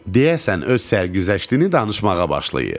Deyərsiniz, öz sərkeşliyini danışmağa başlayır.